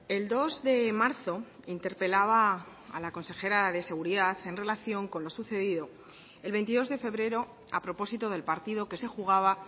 el dos de marzo interpelaba a la consejera de seguridad en relación con lo sucedido el veintidós de febrero a propósito del partido que se jugaba